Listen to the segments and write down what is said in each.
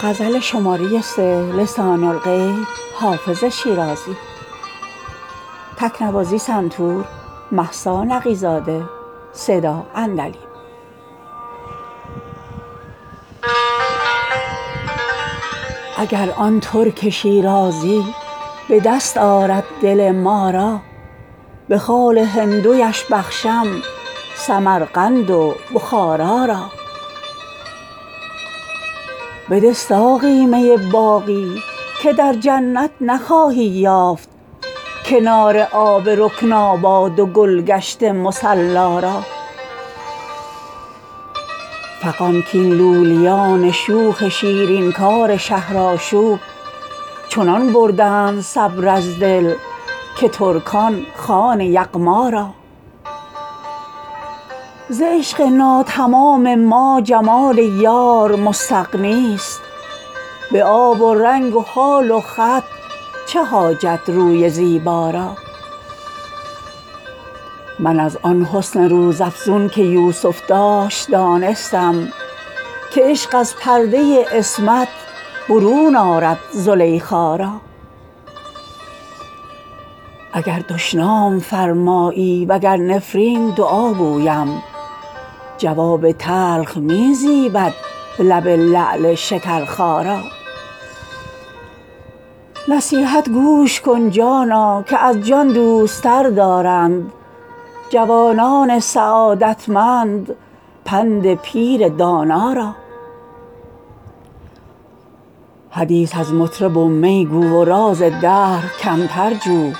اگر آن ترک شیرازی به دست آرد دل ما را به خال هندویش بخشم سمرقند و بخارا را بده ساقی می باقی که در جنت نخواهی یافت کنار آب رکناباد و گل گشت مصلا را فغان کاین لولیان شوخ شیرین کار شهرآشوب چنان بردند صبر از دل که ترکان خوان یغما را ز عشق ناتمام ما جمال یار مستغنی است به آب و رنگ و خال و خط چه حاجت روی زیبا را من از آن حسن روزافزون که یوسف داشت دانستم که عشق از پرده عصمت برون آرد زلیخا را اگر دشنام فرمایی و گر نفرین دعا گویم جواب تلخ می زیبد لب لعل شکرخا را نصیحت گوش کن جانا که از جان دوست تر دارند جوانان سعادتمند پند پیر دانا را حدیث از مطرب و می گو و راز دهر کمتر جو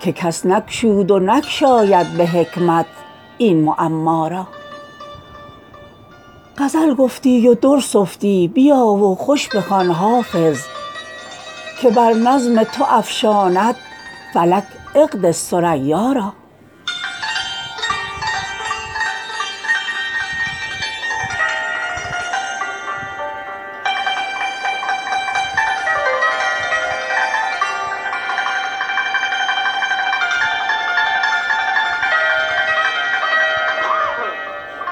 که کس نگشود و نگشاید به حکمت این معما را غزل گفتی و در سفتی بیا و خوش بخوان حافظ که بر نظم تو افشاند فلک عقد ثریا را